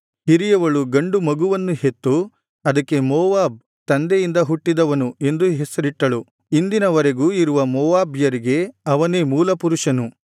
ಹಿರಿಯವಳು ಗಂಡು ಮಗುವನ್ನು ಹೆತ್ತು ಅದಕ್ಕೆ ಮೋವಾಬ್ ತಂದೆಯಿಂದ ಹುಟ್ಟಿದವನು ಎಂದು ಹೆಸರಿಟ್ಟಳು ಇಂದಿನ ವರೆಗೂ ಇರುವ ಮೋವಾಬ್ಯರಿಗೆ ಅವನೇ ಮೂಲಪುರುಷನು